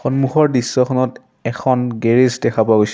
সন্মুখৰ দৃশ্যখনত এখন গেৰেজ দেখা পোৱা গৈছ--